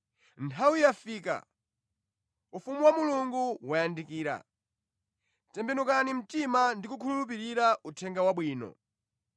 “Nthawi yafika, ufumu wa Mulungu wayandikira. Tembenukani mtima ndi kukhulupirira Uthenga Wabwino!”